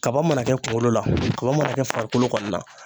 Kaba mana kɛ kunkolo la kaba mana kɛ farikolo kɔni na.